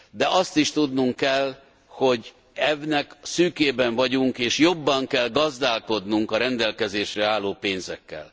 De azt is tudnunk kell, hogy ennek szűkében vagyunk, és jobban kell gazdálkodnunk a rendelkezésre álló pénzekkel.